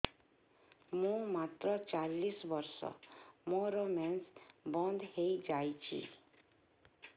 ମୁଁ ମାତ୍ର ଚାଳିଶ ବର୍ଷ ମୋର ମେନ୍ସ ବନ୍ଦ ହେଇଯାଇଛି